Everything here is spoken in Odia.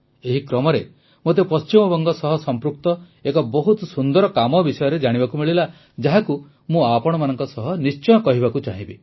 ଏହି କ୍ରମରେ ମୋତେ ପଶ୍ଚିମବଙ୍ଗ ସହ ସଂପୃକ୍ତ ଏକ ବହୁତ ସୁନ୍ଦର କାମ ବିଷୟରେ ଜାଣିବାକୁ ମିଳିଲା ଯାହାକୁ ମୁଁ ଆପଣମାନଙ୍କ ସହ ନିଶ୍ଚୟ କହିବାକୁ ଚାହିଁବି